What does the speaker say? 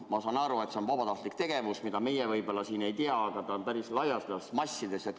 Ma saan aru, et see on vabatahtlik tegevus, ja meie siin võib-olla ei tea, et see on päris laialdane, massiline.